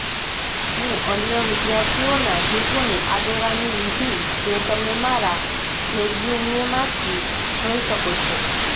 હું અન્ય વિદ્યાર્થીઓના જૂથોની આગેવાની લીધી જે તમે મારા રેઝ્યૂમેમાંથી જોઈ શકો છો